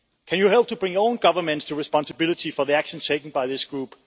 Can you help to bring your own governments to responsibility for the actions taken by this group?